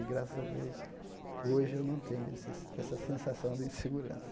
E, graças a Deus, hoje eu não tenho esse essa sensação de insegurança.